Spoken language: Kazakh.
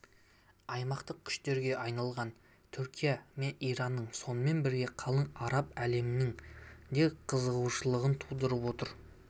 аймақтық күштерге айналған түркия мен иранның сонымен бірге қалың араб әлемінің де қызығушылығын тудырып отыр